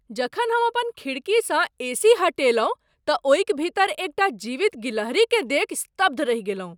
जखन हम अपन खिड़कीसँ एसी हटेलहुँ तऽ ओहिक भीतर एकटा जीवित गिलहरीकेँ देखि स्तब्ध रहि गेलहुँ।